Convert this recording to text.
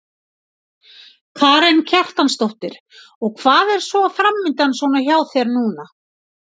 Karen Kjartansdóttir: Og hvað er svona framundan svona hjá þér núna?